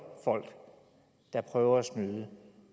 folk der prøver at snyde